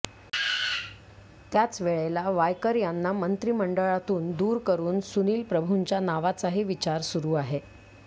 त्याच वेळेला वायकर यांना मंत्रिमंडळातून दूर करून सुनिल प्रभूंच्या नावाचाही विचार सुरु आहे